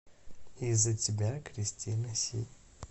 из за тебя кристина си